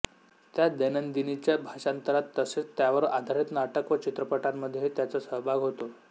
त्या दैनंदिनीच्या भाषांतरात तसेच त्यावर आधारित नाटक व चित्रपटांमध्येही त्यांचा सहभाग होता